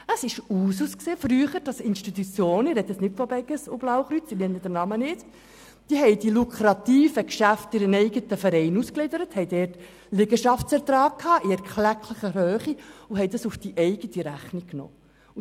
Es war früher Usus, dass Institutionen – ich spreche nicht von der Beges oder dem Blauen Kreuz, nenne aber keine Namen – die lukrativen Geschäfte in eigene Vereine auslagerten und dabei Liegenschaftserträge in erklecklicher Höhe erzielten und diese dann in die eigene Rechnung integrierten.